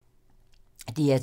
DR2